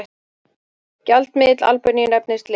Gjaldmiðill Albaníu nefnist lek.